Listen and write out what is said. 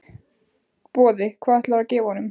Boði: Hvað ætlarðu að gefa honum?